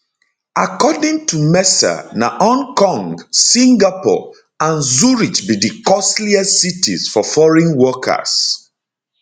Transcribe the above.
according to mercer na hong kong singapore and zurich be di costliest cities for foreign workers